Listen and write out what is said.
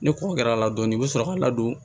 Ni kɔ kɛr'a la dɔɔnin i bɛ sɔrɔ ka ladon